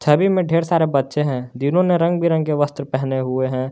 छवि में ढेर सारे बच्चे हैं जिन्होंने रंग बिरंगे वस्त्र पहने हुए हैं।